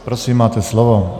Prosím, máte slovo.